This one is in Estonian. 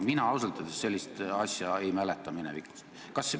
Mina ausalt öeldes sellist asja minevikust ei mäleta.